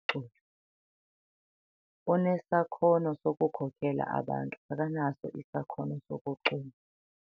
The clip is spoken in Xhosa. Cula. Unesakhono sokukhokela abantu. akanaso isakhono sokucula